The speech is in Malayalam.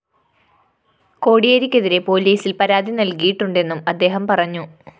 കോടിയേരിക്കെതിരെ പോലീസില്‍ പരാതി നല്‍കിയിട്ടുണ്ടെന്നും അദ്ദേഹം പറഞ്ഞു